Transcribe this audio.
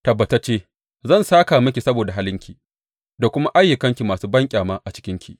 Tabbatacce zan sāka miki saboda halinki da kuma ayyukanki masu banƙyama a cikinki.